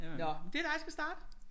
Nåh det er dig der skal starte